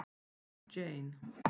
Jane